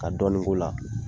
Ka dɔɔnin k'o la.